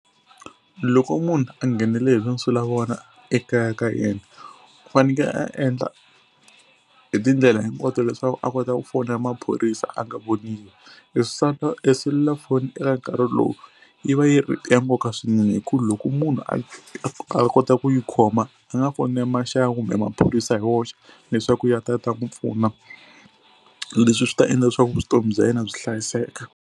Loko munhu a nghenele hi tinsulavoya ekaya ka yena u faneke a endla hi tindlela hinkwato leswaku a kota ku fonela maphorisa a nga voniwi. E e selulafoni eka nkarhi lowu yi va yi ri ya nkoka swinene hi ku loko munhu a a a kota ku yi khoma a nga fonela maxaka kumbe maphorisa hi woxe leswaku ya ta ya ta n'wi pfuna. Leswi swi ta endla leswaku vutomi bya yena byi hlayiseka.